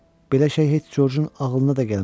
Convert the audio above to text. Belə şey heç Corcun ağlına da gəlməz.